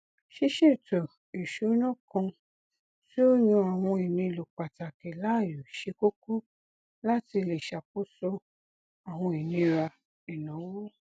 ṣíṣetò ìṣúná kan tí ó yàn àwọn ìnílò pàtàkì láàyò ṣe kókó láti lè ṣàkóso àwọn ìnira ìnáwó